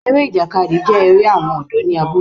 Eré ìjàkadì jé eré àwọn ọ̀dọ́ ní abúlé